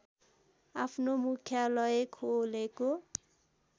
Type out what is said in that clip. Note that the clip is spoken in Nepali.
आफ्नो मुख्यालय खोलेको